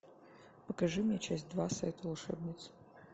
покажи мне часть два сайт волшебниц